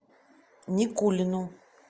никулину